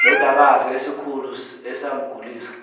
londakazi esikhulu esamgulisa